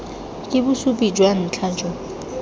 ke bosupi jwa ntlha jo